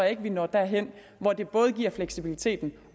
ikke at vi når derhen hvor det både giver fleksibiliteten